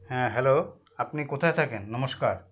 হ্যাঁ hello আপনি কোথায় থাকেন নমস্কার